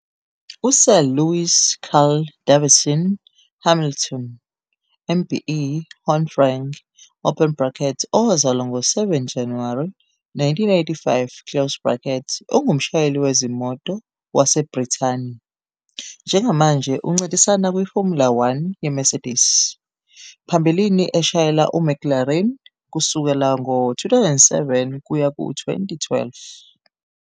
USir Lewis Carl Davidson Hamilton MBE HonFREng, owazalwa ngo-7 Januwari 1985, ungumshayeli wezimoto waseBrithani. Njengamanje uncintisana kwiFormula One yeMercedes, phambilini eshayela uMcLaren kusuka ngo-2007 kuya ku-2012.